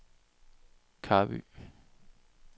Karby